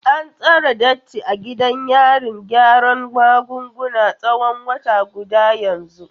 An tsare Datti a gidan yarin gyaran magunguna tsawon wata guda yanzu.